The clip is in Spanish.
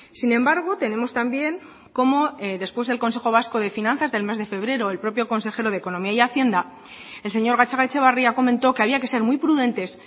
sin embargo tenemos también como después del consejo vasco de finanzas del mes de febrero el propio consejero de economía y hacienda el señor gatzagaetxebarria comentó que había que ser muy prudentes